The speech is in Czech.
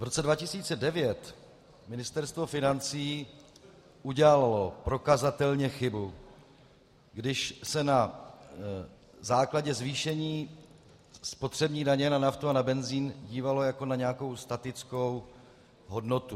V roce 2009 Ministerstvo financí udělalo prokazatelně chybu, když se na základě zvýšení spotřební daně na naftu a na benzin dívalo jako na nějakou statickou hodnotu.